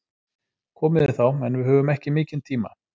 Komið þið þá, en við höfum ekki mikinn tíma.